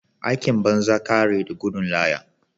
Aikin banza kare da gudun laya.